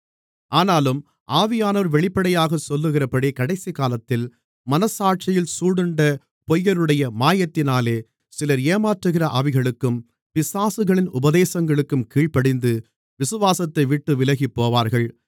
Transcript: ஆனாலும் ஆவியானவர் வெளிப்படையாக சொல்லுகிறபடி கடைசிகாலத்தில் மனச்சாட்சியில் சூடுண்ட பொய்யருடைய மாயத்தினாலே சிலர் ஏமாற்றுகிற ஆவிகளுக்கும் பிசாசுகளின் உபதேசங்களுக்கும் கீழ்ப்படிந்து விசுவாசத்தைவிட்டு விலகிப்போவார்கள்